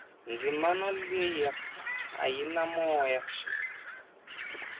dzimana leyia a yi na moya